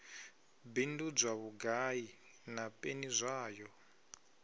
bindudzwa vhugai na peni zwayo